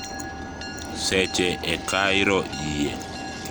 Seche e kairo yie